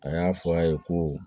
A y'a fɔ a ye ko